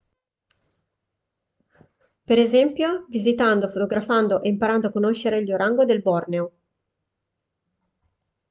per esempio visitando fotografando e imparando a conoscere gli orango del borneo